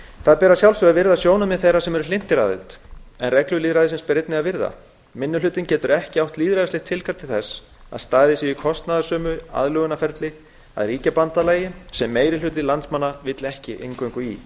það ber að sjálfsögðu að virða sjónarmið þeirra sem eru hlynntir aðild en reglur lýðræðisins ber einnig að virða minni hlutinn getur ekki átt lýðræðislegt tilkall til þess að staðið sé í kostnaðarsömu aðlögunarferli að ríkjabandalagi sem meiri hluti landsmanna vill ekki inngöngu í